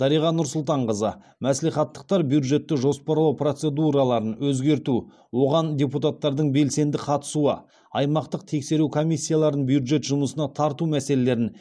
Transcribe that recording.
дариға нұрсұлтанқызы мәслихаттықтар бюджетті жоспарлау процедураларын өзгерту оған депутаттардың белсенді қатысуы аймақтық тексеру комиссияларын бюджет жұмысына тарту мәселелерін